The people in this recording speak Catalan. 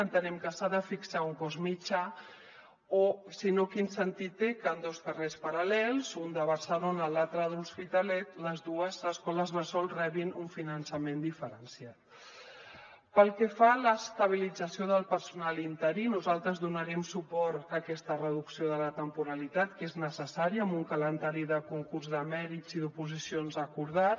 entenem que s’ha de fixar un cost mitjà o si no quin sentit té que en dos carrers paral·lels un de barcelona l’altre de l’hospitalet les dues escoles bressol rebin un finançament diferenciat pel que fa a l’estabilització del personal interí nosaltres donarem suport a aquesta reducció de la temporalitat que és necessària amb un calendari de concurs de mèrits i d’oposicions acordat